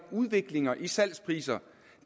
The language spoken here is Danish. udviklinger i salgspriserne